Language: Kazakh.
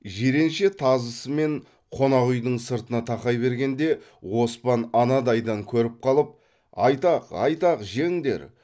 жиренше тазысымен қонақ үйдің сыртына тақай бергенде оспан анадайдан көріп қалып айтақ айтақ жеңдер